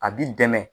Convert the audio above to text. A b'i dɛmɛ